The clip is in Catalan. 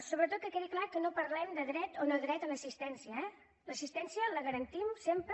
sobretot que quedi clar que no parlem de dret o nodret a l’assistència eh l’assistència la garantim sempre